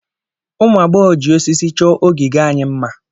ụmụ agbọghọ ji osisi chọọ ogige anyị mma